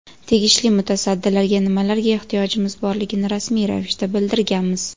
Tegishli mutasaddilarga nimalarga ehtiyojimiz borligini rasmiy ravishda bildirganmiz.